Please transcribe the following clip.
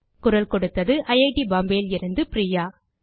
குரல் கொடுத்தது ஐட் பாம்பே லிருந்து பிரியா